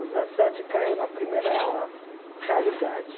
Os dezessete caiu na primeira realidade.